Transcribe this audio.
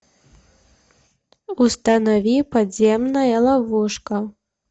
установи подземная ловушка